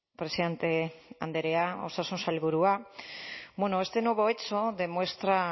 presidente andrea osasun sailburua bueno este nuevo hecho demuestra